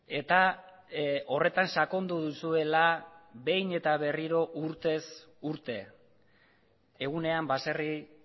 eta horretan sakondu duzuela behin eta berriro urtez urte egunean baserri